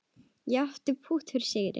Ég átti pútt fyrir sigri.